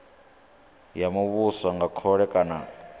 ya muvhuso nga khole kana